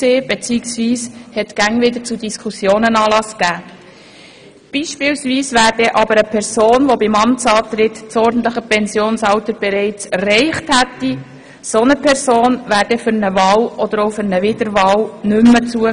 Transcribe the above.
Eine Person, die beim Amtsantritt das ordentliche Pensionsalter bereits erreicht hätte, wäre hingegen für eine Wahl oder Wiederwahl nicht mehr zugelassen.